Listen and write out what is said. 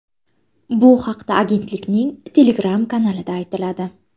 Bu haqda agentlikning Telegram-kanalida aytiladi .